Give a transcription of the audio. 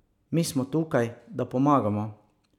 Mi smo tukaj, da pomagamo.